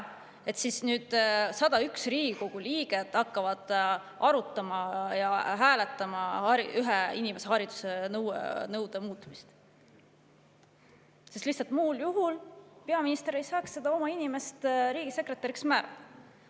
Nüüd siis hakkavad 101 Riigikogu liiget arutama ja hääletama ühe inimese pärast haridusnõude muutmist, sest muul juhul peaminister lihtsalt ei saaks oma inimest riigisekretäriks määrata.